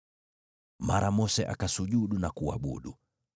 Mara Mose akasujudu na kuabudu.